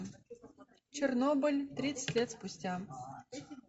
чернобыль тридцать лет спустя